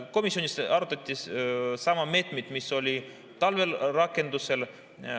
Komisjonis arutati samu meetmeid, mis olid talvel rakendusel.